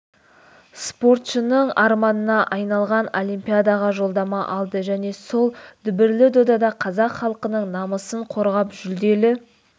спортшының арманына айналған олимпиадаға жолдама алды және сол дүбірлі додада қазақ халқының намысын қорғап жүлделі